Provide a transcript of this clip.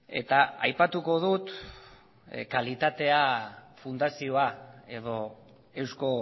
eta aipatuko dut kalitatea fundazioa edo eusko